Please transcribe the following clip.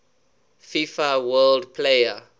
fifa world player